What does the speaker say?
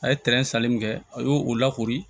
A ye tɛrɛn sanni min kɛ a y'o lakori